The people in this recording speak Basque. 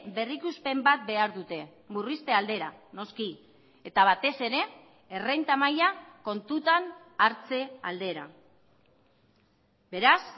berrikuspen bat behar dute murrizte aldera noski eta batez ere errenta maila kontutan hartze aldera beraz